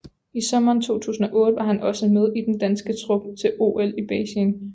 I sommeren 2008 var han også med i den danske trup til OL i Beijing